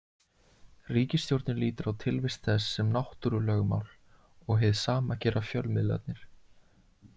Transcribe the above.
Ríkisstjórnin lítur á tilvist þess sem náttúrulögmál og hið sama gera fjölmiðlarnir.